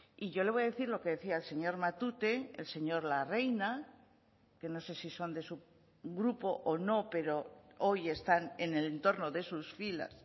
y yo le voy a decir lo que decía el señor matute el señor larreina que no sé si son de su grupo o no pero hoy están en el entorno de sus filas